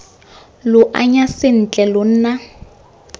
lo anya sentle lo nna